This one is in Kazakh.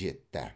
жетті